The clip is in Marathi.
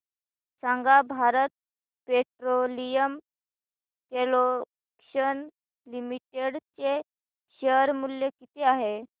सांगा भारत पेट्रोलियम कॉर्पोरेशन लिमिटेड चे शेअर मूल्य किती आहे